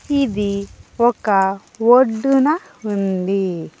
ఇది ఒక ఒడ్డున ఉంది.